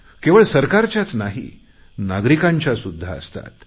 केवळ सरकारच्याच नाही नागरिकांच्या सुध्दा असतात